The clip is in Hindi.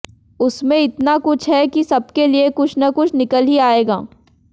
उसमें इतना कुछ है कि सबके लिए कुछ न कुछ निकल ही आयेगा